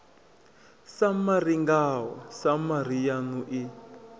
samari ngao samari yanu i